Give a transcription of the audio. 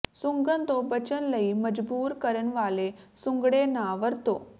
ਸੁੰਘਣ ਤੋਂ ਬਚਣ ਲਈ ਮਜਬੂਰ ਕਰਨ ਵਾਲੇ ਸੁੰਗੜੇ ਨਾ ਵਰਤੋ